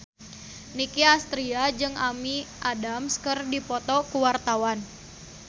Nicky Astria jeung Amy Adams keur dipoto ku wartawan